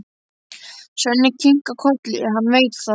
Svenni kinkar kolli, hann veit það.